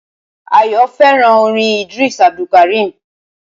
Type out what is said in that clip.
Ayo feran orin Idris Abdulkareem